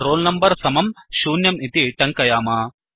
roll number समं दशस्थाने 0 शून्यं इति टङ्कयाम